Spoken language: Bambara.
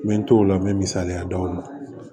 N bɛ n t'o la n bɛ misaliya d'aw ma